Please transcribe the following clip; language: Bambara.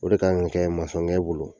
O de kan ka kɛ masɔnkɛ bolo